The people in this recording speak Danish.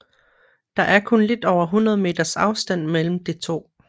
Der er kun lidt over 100 meters afstand mellem de to